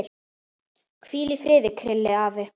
Hvíl í friði, Krilli afi.